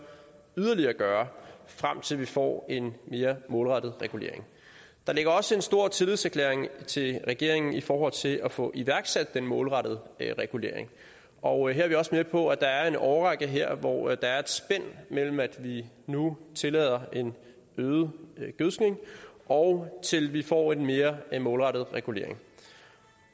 yderligere kan gøre frem til vi får en mere målrettet regulering der ligger også en stor tillidserklæring til regeringen i forhold til at få iværksat den målrettede regulering og her er vi også med på at der er en årrække her hvor der er et spænd mellem at vi nu tillader en øget gødskning og til vi får en mere målrettet regulering